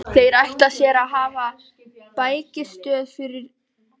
Þeir ætla sér að hafa hér bækistöð um ófyrirsjáanlega framtíð!